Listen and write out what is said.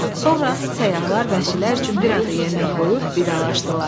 Sonra səyyahlar vəhşilər üçün bir az da yemək qoyub vidalaşdılar.